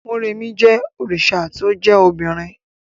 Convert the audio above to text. Mọ́remí jẹ́ òrìṣà to jẹ́ obìnrin